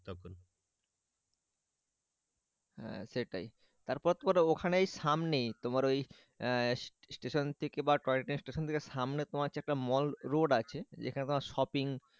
হ্যাঁ সেটাই তারপর এবার ওখানেই সামনেই তোমার ওই স্টেশন থেকে বা টয় টেনের স্টেশন থেকে সামনে তোমার হচ্ছে একটা মল রোড আছে। যেখানে তোমার শপিং,